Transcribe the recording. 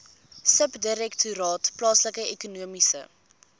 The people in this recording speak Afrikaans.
subdirektoraat plaaslike ekonomiese